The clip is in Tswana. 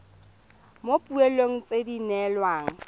mo dipoelong tse di neelwang